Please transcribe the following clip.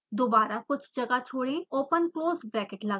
दोबारा कुछ जगह छोड़ें ओपन क्लोज़ ब्रैकेट लगाएं